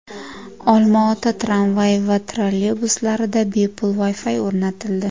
Olma-ota tramvay va trolleybuslarida bepul Wi-Fi o‘rnatildi.